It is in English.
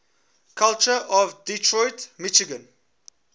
culture of detroit michigan